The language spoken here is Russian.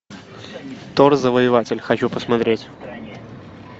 тор завоеватель хочу посмотреть